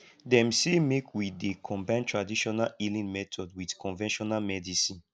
dem sey make we dey combine tradional healing method wit conventional medicine